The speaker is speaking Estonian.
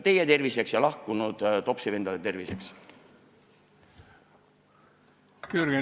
Teie terviseks ja lahkunud topsivendade terviseks!